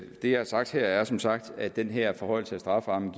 det jeg har sagt her er som sagt at den her forhøjelse af strafferammen